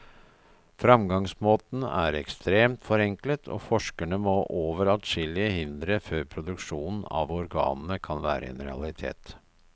Fremgangsmåten er ekstremt forenklet, og forskerne må over adskillige hindre før produksjon av organene kan være en realitet.